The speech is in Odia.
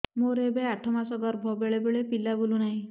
ମୋର ଏବେ ଆଠ ମାସ ଗର୍ଭ ବେଳେ ବେଳେ ପିଲା ବୁଲୁ ନାହିଁ